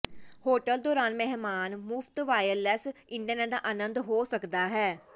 hotel ਦੌਰਾਨ ਮਹਿਮਾਨ ਮੁਫ਼ਤ ਵਾਇਰਲੈੱਸ ਇੰਟਰਨੈੱਟ ਦਾ ਆਨੰਦ ਹੋ ਸਕਦਾ ਹੈ